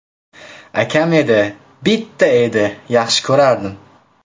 Akam edi, bitta edi… Yaxshi ko‘rardim.